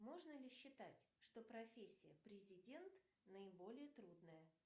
можно ли считать что профессия президент наиболее трудная